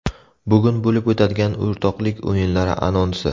Bugun bo‘lib o‘tadigan o‘rtoqlik o‘yinlari anonsi.